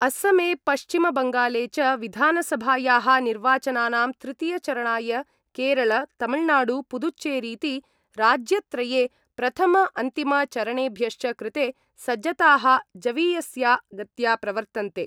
असमे पश्चिम-बंगाले च विधानसभाया: निर्वाचनानां तृतीय-चरणाय केरल, तमिलनाडु, पुदुच्चेरीति राज्यत्रये प्रथमअंतिम-चरणेभ्यश्च कृते सज्जता: जवीयस्या गत्या प्रवर्तन्ते।